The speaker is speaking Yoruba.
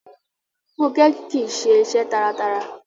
Fúnkẹ́ kìíse iṣẹ́ taratara